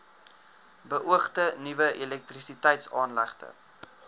beoogde nuwe elektrisiteitsaanlegte